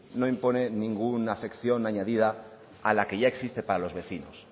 no impone ninguna afección añadida a la que ya existe para los vecinos